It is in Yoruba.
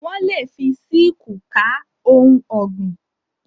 Wọ́n lè fi síkúù ká ohun ọ̀gbìn.